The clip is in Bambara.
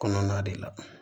Kɔnɔna de la